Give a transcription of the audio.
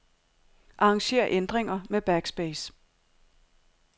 Arranger ændringer med backspace.